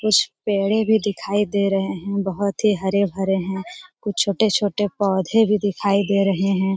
कुछ पेड़े भी दिखाई दे रहे हैं बहुत ही हरे - भरे हैं कुछ तो छोटे - छोटे पौधे भी दिखाई दे रहे हैं।